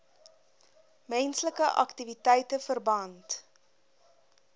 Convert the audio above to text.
menslike aktiwiteite verband